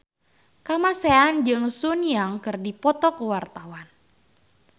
Kamasean jeung Sun Yang keur dipoto ku wartawan